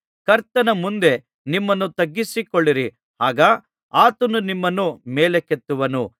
ಕರ್ತನ ಮುಂದೆ ನಿಮ್ಮನ್ನು ತಗ್ಗಿಸಿಕೊಳ್ಳಿರಿ ಆಗ ಆತನು ನಿಮ್ಮನ್ನು ಮೇಲಕ್ಕೆತ್ತುವನು